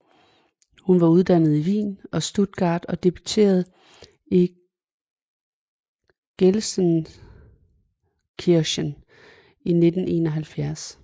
Hun var uddannet i Wien og Stuttgart og debuterede i Gelsenkirchen i 1971